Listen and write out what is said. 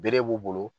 Bere b'u bolo